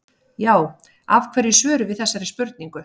Já, af hverju svörum við þessari spurningu?